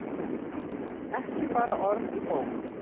Ekki bara orð í bók.